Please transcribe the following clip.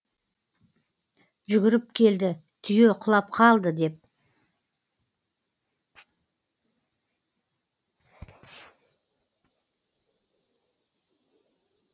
жүгіріп келді түйе құлап қалды деп